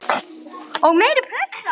Og meiri pressa?